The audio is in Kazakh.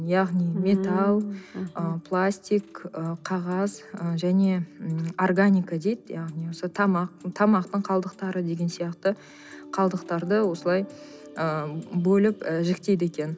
яғни металл ы пластик ы қағаз ы және м органика дейді яғни осы тамақ тамақтың қалдықтары деген сияқты қалдықтарды осылай ы бөліп і жіктейді екен